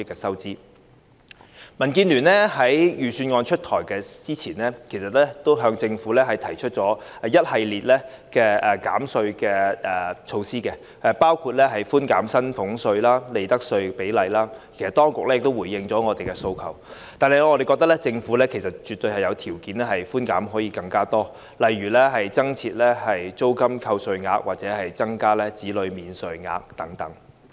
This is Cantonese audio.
民主建港協進聯盟在預算案公布前，其實已向政府提出一系列減稅建議，包括寬減薪俸稅及利得稅的比率，當局亦已回應我們的訴求，但我們認為政府絕對有條件提供更多寬免，例如增設租金扣稅額或增加子女免稅額等。